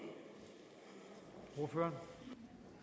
gøre